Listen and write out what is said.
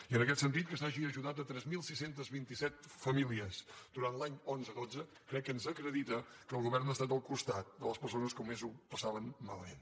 i en aquest sentit que s’hagi ajudat tres mil sis cents i vint set famílies durant l’any dos mil onze dos mil dotze crec que ens acredita que el govern ha estat al costat de les persones que més ho passaven malament